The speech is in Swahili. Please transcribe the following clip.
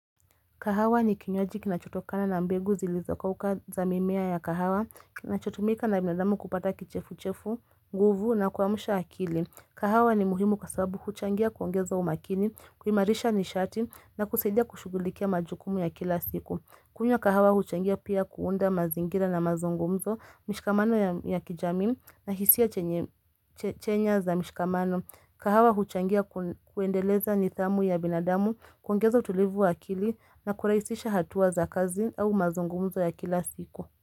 Kahawa ni kinywaji kinachotokana na mbegu zilizokauka za mimea ya kahawa, kinachotumika na binadamu kupata kichefuchefu, nguvu na kuamsha akili. Kahawa ni muhimu kwa sababu huchangia kuongeza umakini, kuimarisha nishati na kusaidia kushughulikia majukumu ya kila siku. Kunywa kahawa huchangia pia kuunda mazingira na mazungumzo, mishikamano ya kijamii na hisia chenye chenya za mishikamano. Kahawa huchangia kuendeleza nidhamu ya binadamu kuongeza utulivu wa akili na kuraisisha hatua za kazi au mazungumzo ya kila siku.